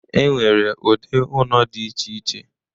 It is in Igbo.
E nwere ụdị ụnọ dị iche iche.